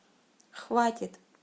хватит